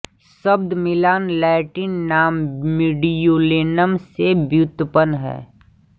शब्द Milan Latin नाम Mediolanum से व्युत्पन्न है